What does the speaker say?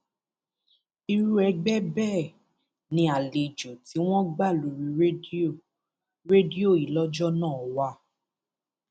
irú ẹgbẹ bẹẹ ni àlejò tí wọn gbà lórí rédíò rédíò yìí lọjọ náà wà